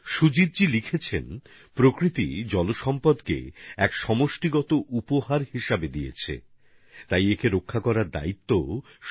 তিনি লিখেছেন প্রকৃতি জল রূপে আমাদের একটি সর্বজনীন উপহার দিয়েছে তাই তাকে রক্ষা করার দায়িত্বও সর্বজনীন